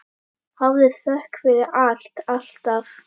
Hafðu þökk fyrir allt, alltaf.